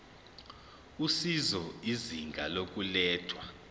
usizo izinga lokulethwa